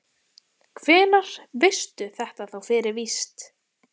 Hvenær veistu þetta þá fyrir víst?